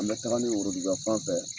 An be taga ni woroduguya fan fɛ